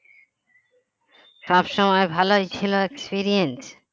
সবসময় ভালোই ছিল experience